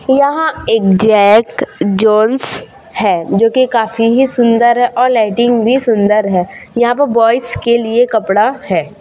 यहां एक Jack Jones है जोकि काफी ही सुंदर है और लाइटिंग भी सुंदर है यहां पर बॉयस के लिए कपड़ा है।